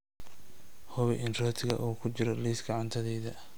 Hubi in rootiga uu ku jiro liiska cuntadayda